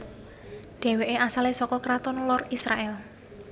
Dhèwèké asalé saka karaton lor Israèl